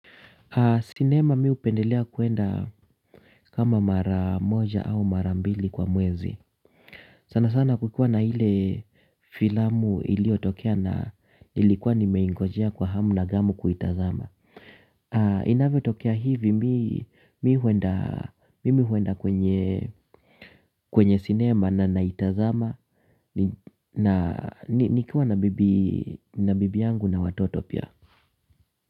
Sinema mimi hupendelea kwenda kama mara moja au mara mbili kwa mwezi. Sana sana kukiwa na ile filamu iliotokea na nilikuwa nimeingojea kwa hamu na ghamu kuitazama. Inavyo tokea hivi mimi huenda kwenye sinema na naitazama. Nikiwa na bibi yangu na watoto pia.